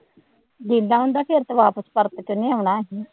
ਜ਼ਿੰਦਾ ਹੁੰਦਾ ਫੇਰ ਤਾਂ ਵਾਪਸ ਪਰਤ ਇਹਨੇ ਆਉਣਾ ਸੀ